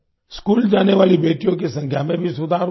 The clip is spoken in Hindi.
स्कूल जाने वाली बेटियों की संख्या में भी सुधार हुआ है